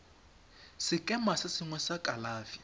sekema se sengwe sa kalafi